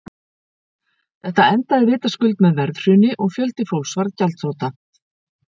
Þetta endaði vitaskuld með verðhruni og fjöldi fólks varð gjaldþrota.